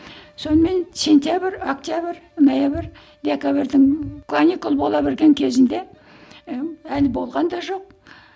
сонымен сентябрь октябрь ноябрь декабрьдің каникул бола берген кезінде і әлі болған да жоқ